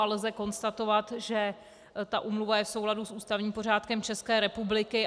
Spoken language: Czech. A lze konstatovat, že ta úmluva je v souladu s ústavním pořádkem České republiky.